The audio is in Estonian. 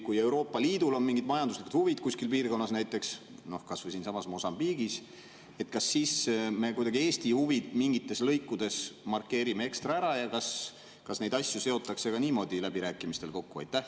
Kui Euroopa Liidul on mingid majanduslikud huvid kuskil piirkonnas, näiteks kas või sealsamas Mosambiigis, kas siis me kuidagi Eesti huvid mingites lõikudes markeerime ekstra ära ja kas neid asju seotakse ka niimoodi läbirääkimistel kokku?